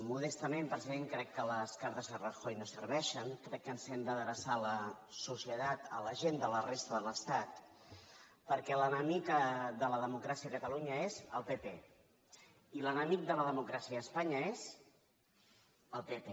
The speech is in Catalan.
modestament president crec que les cartes a rajoy no serveixen crec que ens hem d’adreçar a la societat a la gent de la resta de l’estat perquè l’enemic de la democràcia a catalunya és el pp i l’enemic de la democràcia a espanya és el pp